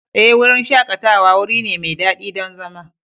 Ee, wurin shakatawa wuri ne mai daɗi don zama.